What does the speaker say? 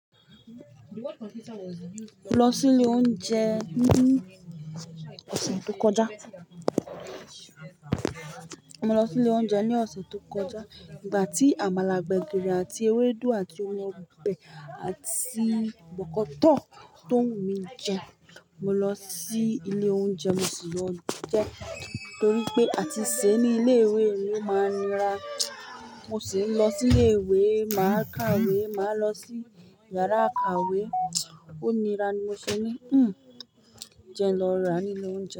Lọ sí ilé oúnjẹ ní ọ̀sẹ̀ tó kọjá. Mo lọ sí ilé oúnjẹ ní ọ̀sẹ̀ tó kọjá nígbà tí àmàlà gbẹ̀gìrì àti ewédú àti o mi ọbẹ̀ àti bọ̀kọ́tọ̀ tó wù mí jẹ. Mo lọ sí ilé oúnjẹ, mo sì lọ jẹ torí pé àti sèé ní ilé-ìwé ó máa ni ra. Mo sì ń lọ sí ilé-ìwé, màá kàwé, màá lọ sí yàrá ìkàwé. Ó nira ni mo ṣe ní, "Hmm, jẹ lọ rà nílé oúnjẹ."